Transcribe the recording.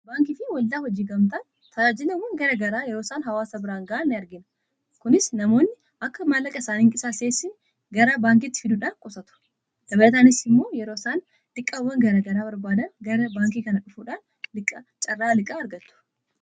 Baankii fi waldaa hojii gamtaa ta'aajilawwan gara garaa yeroo isaan hawaasaa biraan ga'an ni argina. Kunis namoonni akka maallaqa isaanii hin qisaasessine gara baankiitti fiduudhaan qusatu dabalataanis immoo yeroo isaan liqaawwan gara garaa barbaadan gara baankii kana dhufuudhaan carraa liqqaa argatu.